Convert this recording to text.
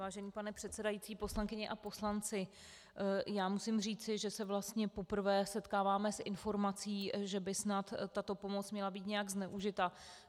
Vážený pane předsedající, poslankyně a poslanci, já musím říci, že se vlastně poprvé setkáváme s informací, že by snad tato pomoc měla být nějak zneužita.